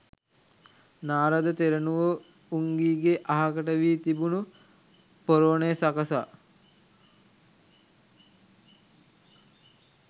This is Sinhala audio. නාරද තෙරණුවෝ උංගීගේ අහකට වී තිබුණු පොරෝනය සකසා